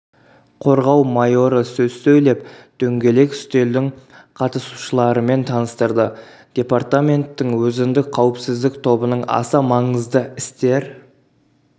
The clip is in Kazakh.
қорғау майоры сөз сөйлеп дөңгелек үстелдің қатысушыларымен таныстырды департаменттің өзіндік қауіпсіздік тобының аса маңызды істер